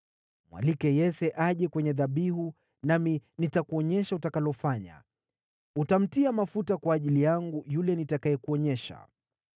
Mwalike Yese aje kwenye dhabihu, nami nitakuonyesha utakalofanya. Utamtia mafuta kwa ajili yangu yule nitakayekuonyesha.”